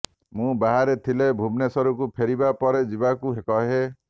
ମୁଁ ବାହାରେ ଥିଲେ ଭୁବନେଶ୍ୱରକୁ ଫେରିବା ପରେ ଯିବାକୁ କହେ